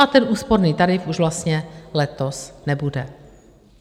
A ten úsporný tarif už vlastně letos nebude.